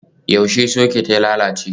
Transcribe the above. Yaushe soket ya lalace?